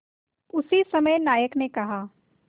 उसी समय नायक ने कहा